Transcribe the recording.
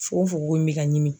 Fungofungo in bɛ ka ɲimi.